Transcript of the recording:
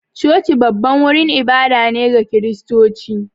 Coci babban wurin ibada ne ga Kiristoci